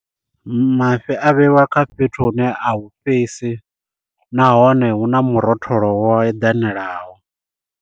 Mafhi a vheiwa kha fhethu hune a hu fhisi nahone hu na murotholo wo eḓanelaho.